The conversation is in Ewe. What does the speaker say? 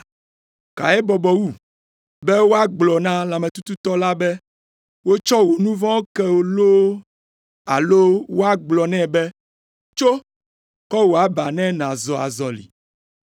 Kae bɔbɔ wu, be woagblɔ na lãmetututɔ la be, ‘Wotsɔ wò nu vɔ̃wo ke wò loo alo woagblɔ nɛ be, “Tso, kɔ wò aba ne nàzɔ azɔli?” ’